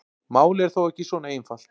Málið er þó ekki svona einfalt.